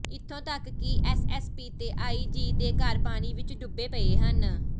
ਇੱਥੋਂ ਤੱਕ ਕਿ ਐਸਐਸਪੀ ਤੇ ਆਈਜੀ ਦੇ ਘਰ ਪਾਣੀ ਵਿਚ ਡੁੱਬੇ ਪਏ ਹਨ